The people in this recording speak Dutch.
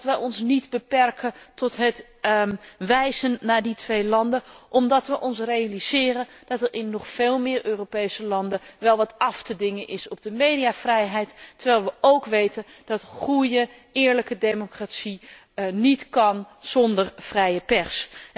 Wij beperken ons echter niet tot het wijzen naar die twee landen, omdat wij ons realiseren dat er in nog veel meer Europese landen wel wat af te dingen is op de mediavrijheid, terwijl wij ook weten dat goede, eerlijke democratie niet kan zonder vrije pers.